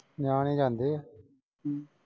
ਨਿਆਣੇ ਜਾਂਦੇ ਆ .